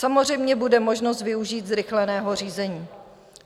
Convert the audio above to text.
Samozřejmě bude možnost využít zrychleného řízení.